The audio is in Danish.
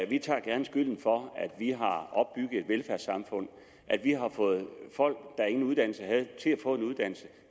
vi tager gerne skylden for at vi har opbygget et velfærdssamfund at vi har fået folk der ingen uddannelse havde